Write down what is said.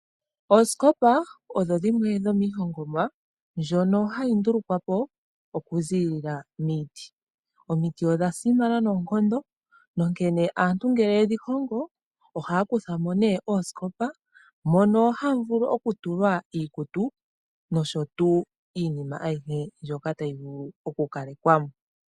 Oosikopa odho dhimwe dhomiihogomwa ndjoka hayi hongwa okuza miiti. Omiti odhasimana noonkondo nongele aantu yedhi hongo ohaakuthamo née oosikopa mono hamu vulu okutulwa iikutu niinima ayihe ndjoka tayi vulu okukalekwamo.